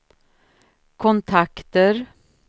kontakter